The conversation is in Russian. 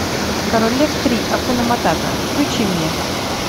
король лев три акуна матата включи мне